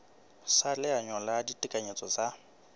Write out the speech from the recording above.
sa leano la ditekanyetso tsa